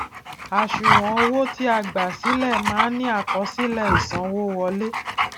àṣùwòn owó ti a gbà sílẹ máa ń ní àkọsílẹ ìsanwówọlé